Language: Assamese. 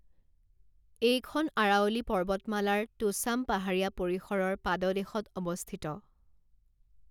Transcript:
এইখন আৰাৱলী পৰ্বতমালাৰ তোছাম পাহাৰীয়া পৰিসৰৰ পাদদেশত অৱস্থিত।